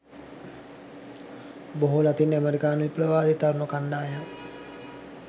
බොහෝ ලතින් අමරිකානු විප්ලවවාදී තරුණ කණ්ඩායම්